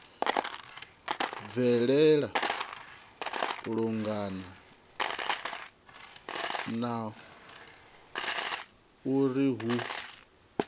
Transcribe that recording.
bvelela lungana na uri hu